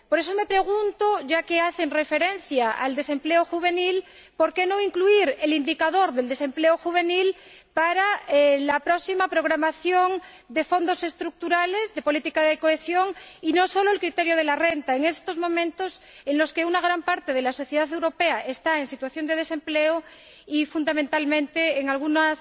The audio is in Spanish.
Por eso me pregunto, ya que hacen referencia al desempleo juvenil, por qué no incluir el indicador del desempleo juvenil en la próxima programación de los Fondos Estructurales y de la política de cohesión, y no solo el criterio de la renta, máxime en estos momentos en los que una gran parte de la sociedad europea está en situación de desempleo y, fundamentalmente en algunos